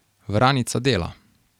Vranica dela.